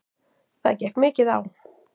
Það gekk mikið á.